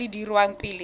tse di dirwang pele ga